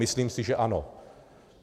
Myslím si, že ano.